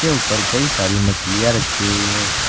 इसके ऊपर कई सारी मछलियां रखी हुई है।